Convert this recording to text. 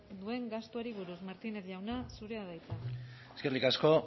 duen gastuari buruz martínez jauna zurea da hitza eskerrik asko